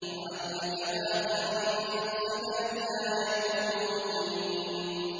لَعَلَّكَ بَاخِعٌ نَّفْسَكَ أَلَّا يَكُونُوا مُؤْمِنِينَ